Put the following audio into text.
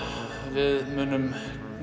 við munum